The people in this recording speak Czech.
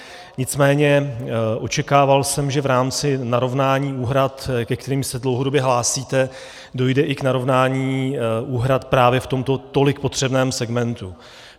Nicméně očekával jsem, že v rámci narovnání úhrad, ke kterým se dlouhodobě hlásíte, dojde i k narovnání úhrad právě v tomto tolik potřebném segmentu.